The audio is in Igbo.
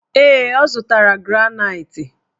Ee, ọ zụtara granaitị.